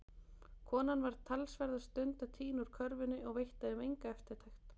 Konan var talsverða stund að tína úr körfunni og veitti þeim enga eftirtekt.